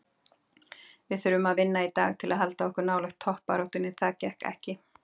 Við þurftum að vinna í dag til að halda okkur nálægt toppbaráttunni, það gekk ekki.